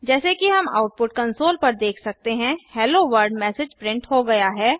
जैसे कि हम आउटपुट कंसोल पर देख सकते हैं हेलोवर्ल्ड मैसेज प्रिंट हो गया है